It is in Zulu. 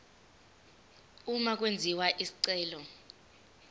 uma kwenziwa isicelo